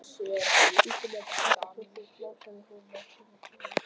Bíddu, mamma, þetta er svo þungt, másaði hún með tilþrifum.